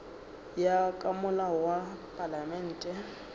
ya ka molao wa palamente